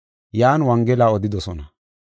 Yan Wongela odidosona.